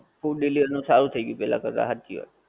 food delivery માં સારું થઈ ગયું પેહલા કરતા હાચી વાત છે